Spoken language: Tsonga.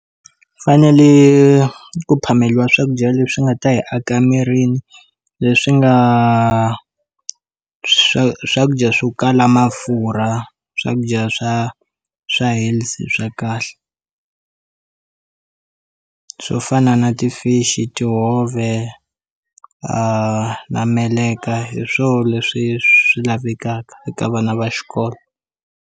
U fanele ku phameriwa swakudya leswi nga ta hi aka mirini leswi nga swa swakudya swo kala mafurha swakudya swa swa health swa kahle swo fana na ti-fish tihove na meleka hi swo leswi swi lavekaka eka vana va xikolo.